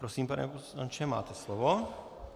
Prosím, pane poslanče, máte slovo.